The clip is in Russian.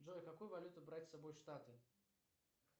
джой какую валюту брать с собой в штаты